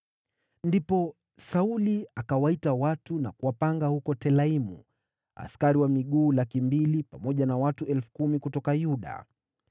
Ndipo Sauli akawaita watu na kuwapanga huko Telaimu, askari wa miguu 200,000 pamoja na watu 10,000 kutoka Yuda.